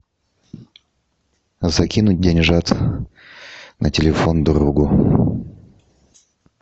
закинуть деньжат на телефон другу